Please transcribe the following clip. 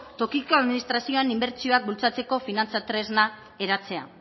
tokiko administrazioan inbertsioak bultzatzeko finantza tresna eratzea